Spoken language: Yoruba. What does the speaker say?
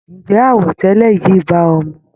Ǹjẹ́ àwọ̀ tẹlẹ yìí bá o mu?